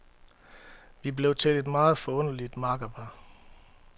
Vi blev til et meget forunderligt makkerpar.